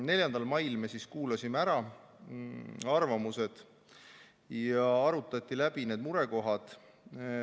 4. mail me kuulasime ära arvamused ja arutati läbi murekohad.